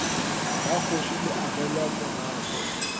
la kgoši le agelwa morako